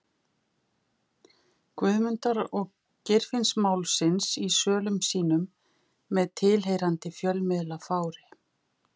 Guðmundar- og Geirfinnsmálsins í sölum sínum með tilheyrandi fjölmiðlafári.